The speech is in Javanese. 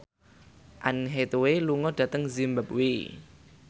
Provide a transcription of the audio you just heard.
Anne Hathaway lunga dhateng zimbabwe